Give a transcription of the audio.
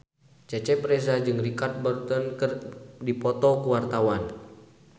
Cecep Reza jeung Richard Burton keur dipoto ku wartawan